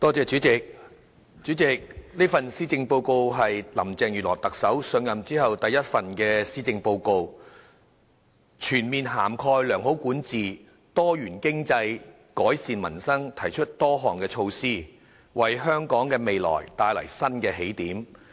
主席，這是特首林鄭月娥上任後第一份施政報告，全面涵蓋良好管治、多元經濟、改善民生，提出多項措施，為香港的未來帶來新的起點。